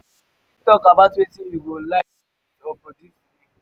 you fit talk about wetin you go like create or produce today?